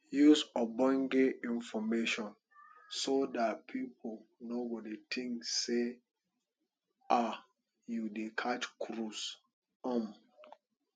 use ogbonge information so dat pipu no go think sey um you dey catch cruise um